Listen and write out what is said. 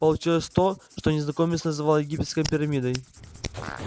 получилось то что незнакомец называл египетской пирамидой